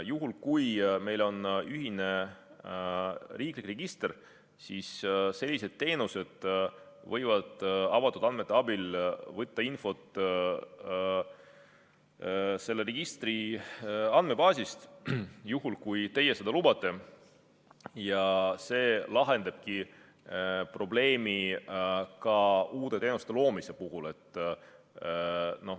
Juhul kui meil oleks ühine riiklik register, siis sellised teenused võiksid avatud andmete abil võtta infot selle riikliku registri andmebaasist, juhul kui teie seda lubate, ja see lahendabki probleemi ka uute teenuste loomise puhul.